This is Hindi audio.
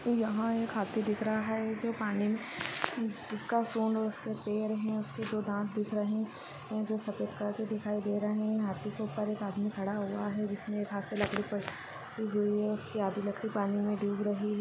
यहाँ एक हाथी दिख रहा है जो पानी में न्-जिसका सूंढ़ और उसके पेर हैं। उसके दो दाँत दिख रहें हैं जो सफेद कलर के दिखाई दे रहें हैं। हाथी के ऊपर एक आदमी खड़ा हुआ है जिसने एक हाथ से लकड़ी प-कि हुई है उसकी आधी लकड़ी पानी में डूब रही --